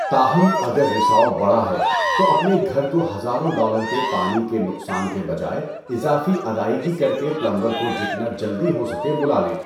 تاہم اگر رساؤ بڑا ہے، تو اپنے گھر کو ہزاروں ڈالر کے پانی کے نقصان کے بجائے اضافی ادائیگی کر کے پلمبر کو جتنا جلدی ہو سکے بلا لیں۔